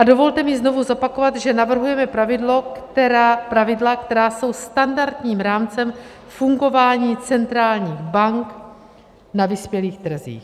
A dovolte mi znovu zopakovat, že navrhujeme pravidla, která jsou standardním rámcem fungování centrálních bank na vyspělých trzích.